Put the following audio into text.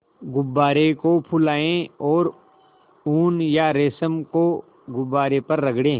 गुब्बारे को फुलाएँ और ऊन या रेशम को गुब्बारे पर रगड़ें